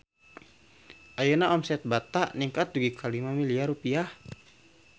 Ayeuna omset Bata ningkat dugi ka 5 miliar rupiah